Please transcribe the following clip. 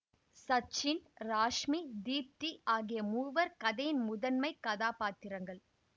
சச்சின் ராஷ்மி தீப்தி ஆகிய மூவர் கதையின் முதன்மை கதாப்பாத்திரங்கள்